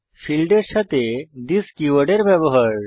ফীল্ডের সাথে থিস কীওয়ার্ডের ব্যবহার